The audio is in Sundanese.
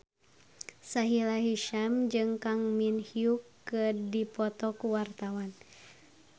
Sahila Hisyam jeung Kang Min Hyuk keur dipoto ku wartawan